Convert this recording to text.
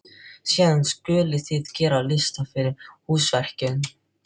Síðan skulið þið gera lista yfir húsverkin.